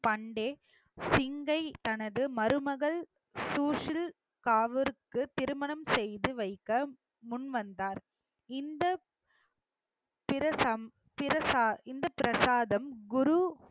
பண்டே சிங்கை தனது மருமகள் சூஷில் காவுர்க்கு திருமணம் செய்து வைக்க முன்வந்தார் இந்த பிரசா~ பிரசா~ இந்த பிரசாதம் குரு